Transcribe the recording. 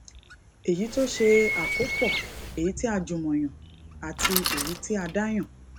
èyí tó ṣe àkópọ èyí tí a jùmọ yàn àti èyí tí a dá yàn